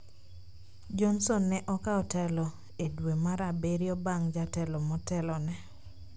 Johnson ne okawo telo e dwe mar Abirio bang' jatelo motelone.